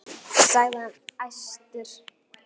sagði hann æstur.